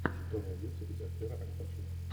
что найдется из актера аль пачино